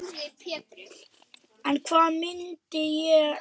En hvað myndi ég gera?